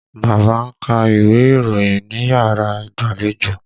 Bàbá ń ka iwe ìròyìn níyàrá ìgbàlejò.